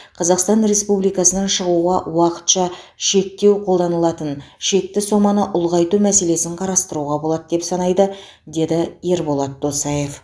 қазақстан республикасынан шығуға уақытша шектеу қолданылатын шекті соманы ұлғайту мәселесін қарастыруға болады деп санайды деді ерболат досаев